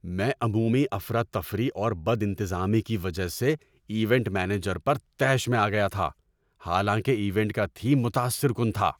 میں عمومی افراتفری اور بدانتظامی کی وجہ سے ایونٹ مینیجر پر طیش میں آ گیا تھا حالانکہ ایونٹ کا تھیم متاثر کن تھا۔